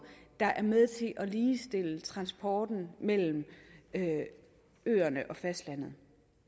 der er med til at ligestille transporten mellem øerne og fastlandet